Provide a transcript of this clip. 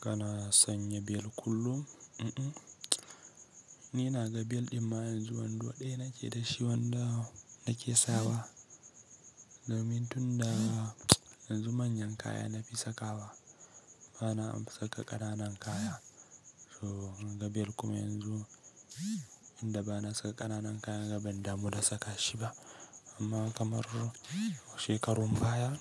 Kana sanya bel kullum? Un-un, ni na ga bel ɗin ma yanzu wando ɗaya nake da shi wanda nake sawa. Domin tun da yanzu manyan kaya na fi sakawa, bana saka ƙananan kaya. So na ga bel kuma yanzu inda bana saka ƙananan kaya, ga ban damu da saka shi ba. Amma kamar shekarun baya,